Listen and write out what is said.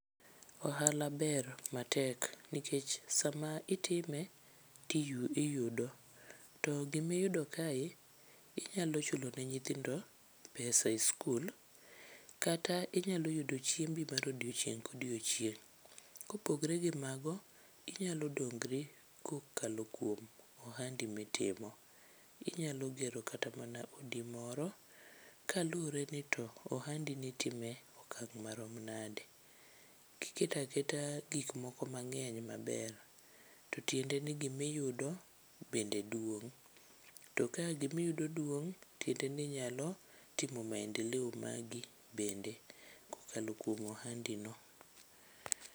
Ohala ber matek nikech sama itime tiyudo to gimiyudo kae inyalo chulone nyithindo pesa e skul. Kata inyalo yudo chiembi mar odiochieng' kodiochieng'. Kopogre gi mago, inyalo dongri kokalo kuom ohandi mitimo. Inyalo gero kata mana odi moro kalure ni to ohandi ni itime e okang' marom nade. Kiketa keta gik moko mang'eny maber, to tiende ni gimiyudo bende duong'. To ka gimiyudo duong', tiende ni inyalo timo maendeleo magi bende kokalo kuom ohandi no.